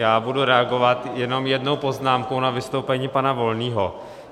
Já budu reagovat jenom jednou poznámkou na vystoupení pana Volného.